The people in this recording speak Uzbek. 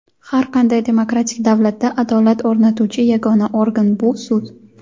Har qanday demokratik davlatda adolat o‘rnatuvchi yagona organ – bu sud.